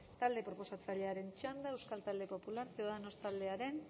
talde proposatzailearen txanda euskal talde popular ciudadanos taldearen